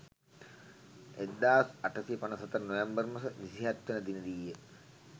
1854 නොවැම්බර් මස 27වන දිනදීය.